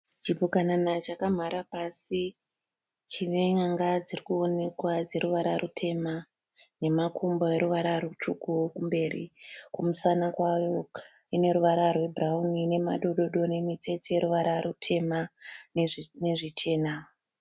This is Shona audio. Chipukanana chakamhara pasi. Chine nyanga dziri kuonekwa dzeruvara rutema nemakumbo eruvara rutsvuku kumberi. Kumusana kwayo ine ruvara rwebhurawuni nemadododo nemitsetse yeruvara rutema nezvichena.